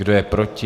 Kdo je proti?